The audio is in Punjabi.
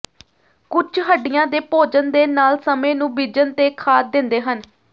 ਕੁਝ ਹੱਡੀਆਂ ਦੇ ਭੋਜਨ ਦੇ ਨਾਲ ਸਮੇਂ ਨੂੰ ਬੀਜਣ ਤੇ ਖਾਦ ਦਿੰਦੇ ਹਨ